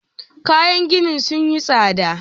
Kayan gini sun yi tsada.